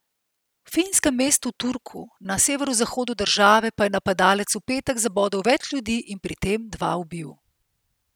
V finskem mestu Turku na severozahodu države pa je napadalec v petek zabodel več ljudi in pri tem dva ubil.